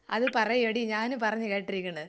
അത് പറയെടി ഞാന് പറഞ്ഞ് കെട്ടിരിക്കിണ്.